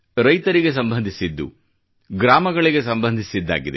ರೈತರಿಗೆ ಸಂಬಂಧಿಸಿದ್ದು ಮತ್ತು ಗ್ರಾಮಗಳಿಗೆ ಸಂಬಂಧಿಸಿದ್ದಾಗಿದೆ